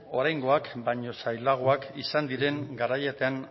oraingoak baina zailagoak izan diren garaietan